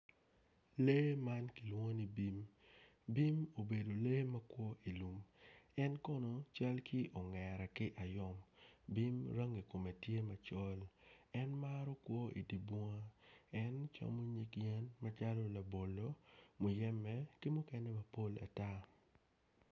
Lee man kilwongo ni bim bim obedo lee makwo i lum en kono cal ki ongera ki ayom bim rangi kome tye macol en maro kwo idi bunga en camo nyig yen macalo labolo, muyeme ki mukene mapol ata.